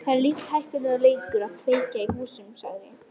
Það gefur einhvern suðrænan og ómótstæðilegan ilm.